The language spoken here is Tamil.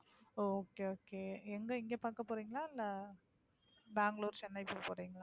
ஓ okay, okay எங்க இங்க பாக்க போறீங்களா, இல்ல பெங்களுரு, சென்னை போக போறீங்களா?